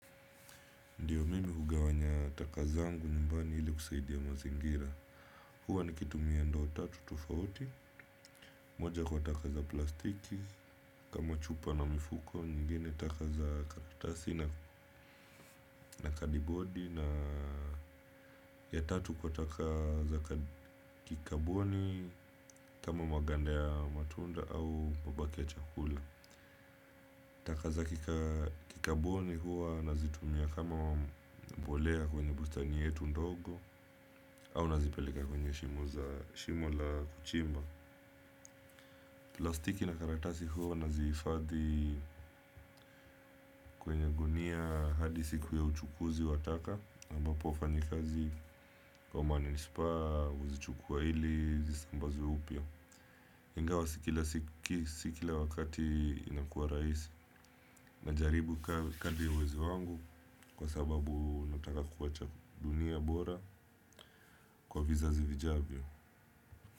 Ndiyo mimi hugawanya taka zangu nyumbani ili kusaidia mazingira. Hua nikitumia ndoo tatu tufauti. Moja kwa taka za plastiki kama chupa na mifuko nyingine taka za karastasi na kadibodi na ya tatu kwa taka za kikaboni kama maganda ya matunda au mabaki ya chakula. Taka za kikaboni huwa nazitumia kama mbolea kwenye bustani yetu ndogo. Au nazipeleka kwenye shimo za shimo la kuchimba. Plastiki na karatasi huo nazihifadhi kwenye gunia hadi siku ya uchukuzi wa taka ambapo wafanyikazi wa manispaa huzichukua ili zisi sambaze upya ingawa si kila wakati inakua rahisi najaribu kadri ya uwezo wangu. Kwa sababu nataka kuwacha dunia bora kwa vizazi vijavyo.